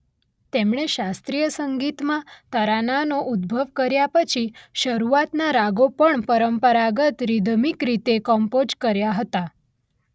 તેમણે શાસ્ત્રીય સંગીતમાં તરાનાનો ઉદ્ભવ કર્યા પછી શરૂઆતના રાગો પણ પરંપરાગત રિધમિક રીતે કમ્પોઝ કર્યા હતા.